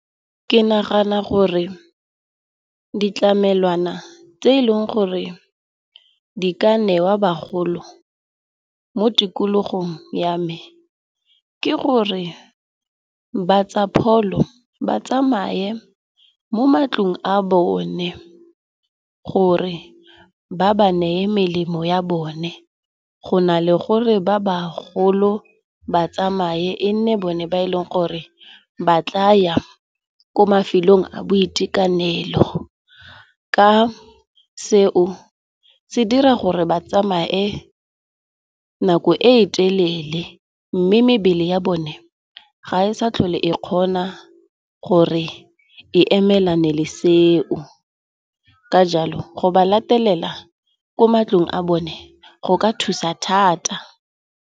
Ke nagana gore ditlamelwana tse eleng gore di ka newa bagolo mo tikologong ya me, ke gore ba tsa pholo ba tsamaye mo matlong a bone gore ba ba neye melemo ya bone. Go na le gore ba bagolo ba tsamaye e nne bone ba e leng gore ba tla ya ko mafelong a boitekanelo. Ka seo se dira gore ba tsamaye nako e telele mme mebele ya bone ga e sa tlhole e kgona gore e emelane le seo. Ka jalo, go ba latelela ko matlong a bone go ka thusa thata.